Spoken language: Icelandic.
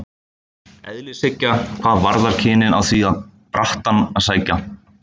Eðlishyggja hvað varðar kynin á því á brattann að sækja.